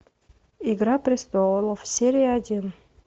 игра престолов серия один